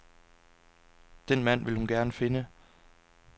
Den mand vil hun gerne finde.